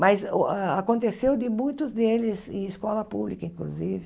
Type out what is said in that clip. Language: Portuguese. Mas o a aconteceu de muitos deles em escola pública, inclusive.